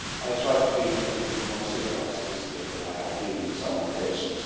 I will try to be a little bit more civilised this year than I have been on some occasions.